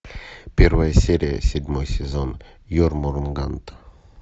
первая серия седьмой сезон ермунганд